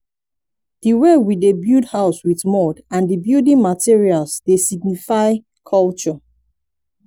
di way we dey build house with mud and di building materals dey signify culture